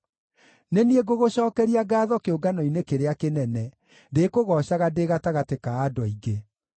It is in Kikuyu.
Nĩ niĩ ngũgũcookeria ngaatho kĩũngano-inĩ kĩrĩa kĩnene; ndĩkũgoocaga ndĩ gatagatĩ ka andũ aingĩ.